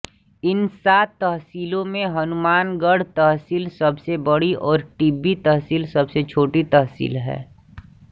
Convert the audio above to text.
इन सात तहसीलों में हनुमानगढ़ तहसील सबसे बड़ी और टिब्बी तहसील सबसे छोटी तहसील है